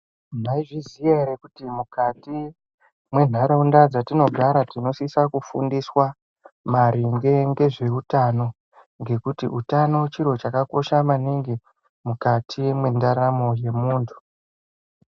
Maizviziya ere kuti mukati mendaraunda dzatinogara tinosiswa kufundiswa maringe ngezveutano? ngekuti utano chiro chakakosha maningi mukati mwendaramo yemuntu.